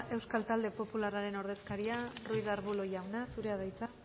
euskal talde popularraren ordezkaria ruiz de arbulo jauna zurea da hitza